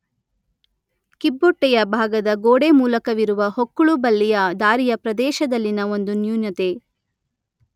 ಕಿಬ್ಬೊಟ್ಟೆಯ ಭಾಗದ ಗೋಡೆ ಮೂಲಕವಿರುವ ಹೊಕ್ಕುಳುಬಳ್ಳಿಯ ದಾರಿಯ ಪ್ರದೇಶದಲ್ಲಿನ ಒಂದು ನ್ಯೂನತೆ